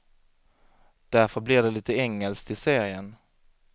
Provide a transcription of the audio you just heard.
Därför blir det lite engelskt i serien.